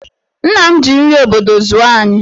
Nna m ji nri obodo zụọ anyị.